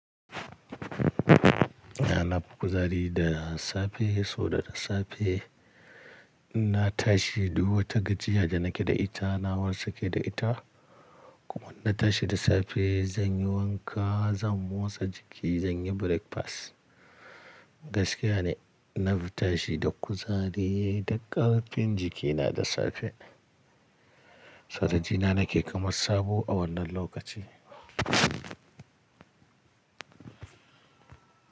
Ah na fi kuzari da safe, so da safe na tashi da wata gajiya da nake da ita na wasake da ita. Kuma na tashi da safe zan yi wanka, zan motsa jiki, zan yi breakfast. Gaskiya ne na fi tashi da kuzari da ƙarfin jikina da safe. Karaji na nake kamar sabo a wannan lokaci.